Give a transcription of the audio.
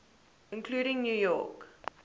including new york